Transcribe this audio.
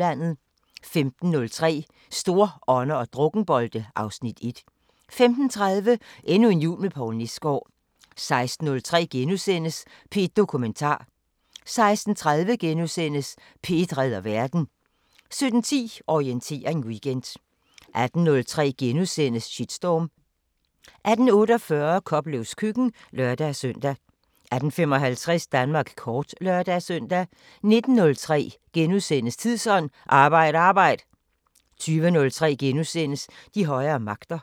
15:03: Storånder og drukkenbolte (Afs. 1) 15:30: Endnu en jul med Poul Nesgaard (Afs. 15) 16:03: P1 Dokumentar * 16:30: P1 redder verden * 17:10: Orientering Weekend 18:03: Shitstorm * 18:48: Koplevs køkken (lør-søn) 18:55: Danmark kort (lør-søn) 19:03: Tidsånd: Arbejd arbejd! * 20:03: De højere magter *